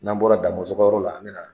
N'an bɔra Damɔzɔn ka yɔrɔ la an bɛ na